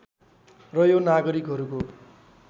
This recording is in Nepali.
र यो नागरिकहरूको